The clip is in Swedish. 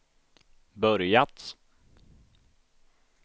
börjat